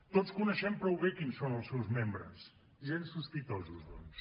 tots coneixem prou bé quins són els seus membres gens sospitosos doncs